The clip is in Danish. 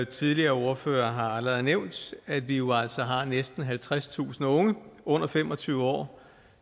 tidligere ordførere har allerede nævnt at vi jo altså har næsten halvtredstusind unge under fem og tyve år